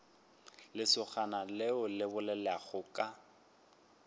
lesogana leo le bolelago ka